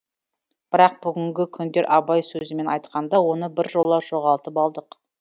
бірақ бүгінгі күндері абай сөзімен айқанда оны біржола жоғалтып алдық